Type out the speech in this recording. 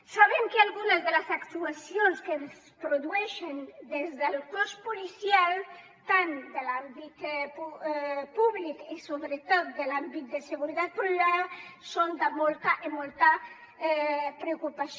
sabem que algunes de les actuacions que es produeixen des del cos policial tant de l’àmbit públic com sobretot de l’àmbit de seguretat privada són de molta i molta preocupació